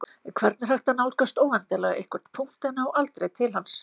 hvernig er hægt að nálgast óendanlega einhvern punkt en ná aldrei til hans